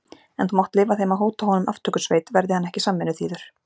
En þú mátt leyfa þeim að hóta honum aftökusveit, verði hann ekki samvinnuþýður.